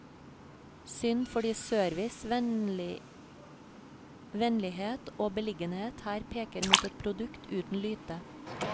Synd, fordi service, vennlighet og beliggenhet her peker mot et produkt uten lyte.